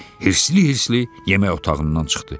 Hirsli-hirsli yemək otağından çıxdı.